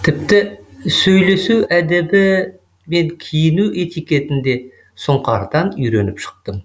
тіпті сөйлесу әдебі мен киіну этикетін де сұңқардан үйреніп шықтым